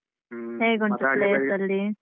ಹ್ಮ .